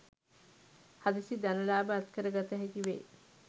හදිසි ධන ලාභ අත්කර ගත හැකි වේ.